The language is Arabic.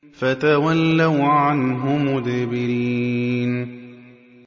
فَتَوَلَّوْا عَنْهُ مُدْبِرِينَ